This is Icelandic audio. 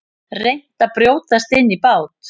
Reynt að brjótast inn í bát